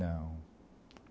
Não.